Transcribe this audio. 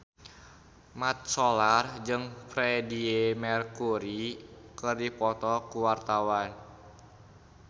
Mat Solar jeung Freedie Mercury keur dipoto ku wartawan